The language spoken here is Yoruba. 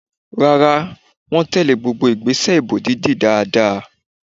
Rárá, wọ́n tèlé gbogbo ìgbésẹ̀ ìbò dídì dáadáa.